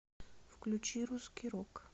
включи русский рок